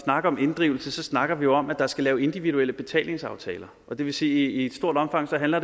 snakker om inddrivelse snakker vi om at der skal laves individuelle betalingsaftaler og det vil sige i stort omfang jo handler